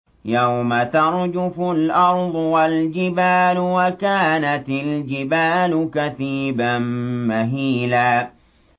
يَوْمَ تَرْجُفُ الْأَرْضُ وَالْجِبَالُ وَكَانَتِ الْجِبَالُ كَثِيبًا مَّهِيلًا